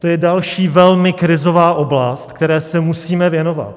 To je další velmi krizová oblast, které se musíme věnovat.